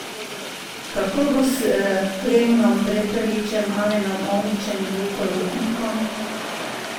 Kako bo s Klemnom Prepeličem, Alenom Omićem in Luko Rupnikom?